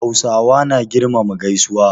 Hausawa na girmama gaisuwa.